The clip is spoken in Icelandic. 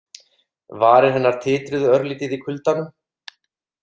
Varir hennar titruðu örlítið í kuldanum.